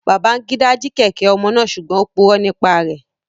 Babangida ji kẹ̀kẹ́ omo naa sugbon o puro nipa rẹ